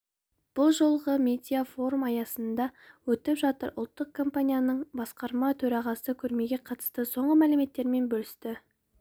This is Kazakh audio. бұл жолғы медиа форум аясында өтіп жатыр ұлттық компанияның басқарма төрағасы көрмеге қатысты соңғы мәліметтерімен бөлісті